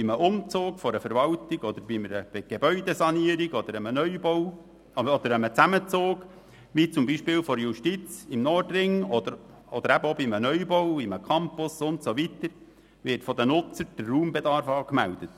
– Beim Umzug einer Verwaltung oder bei einer Gebäudesanierung oder einem Neubau, aber auch bei einem Zusammenzug wie zum Beispiel der Justiz im Nordring oder im Fall eines Neubaus eines Campus, wird von den Nutzern der Raumbedarf angemeldet.